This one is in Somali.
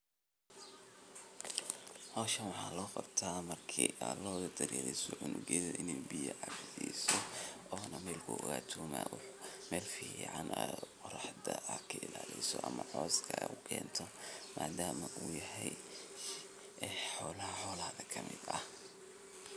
Hoshan waxa loqabta marki aa loda daririso cunugeda inay biya cabsisoona melku ogato melfican ad o raxda adkailaliso ama coska ad u kento madama u yahay ee xolaha xolahada kamid ah.